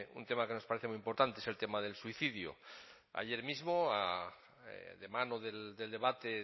un tema que nos parece muy importante es el tema del suicidio ayer mismo de mano del debate